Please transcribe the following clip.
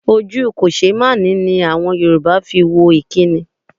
Ojú kòṣeémáṣe ni àwọn Yorùbá fi wo ìkínni.